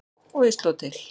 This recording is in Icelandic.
Og ég sló til.